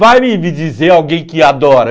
Vai me me dizer alguém que adora.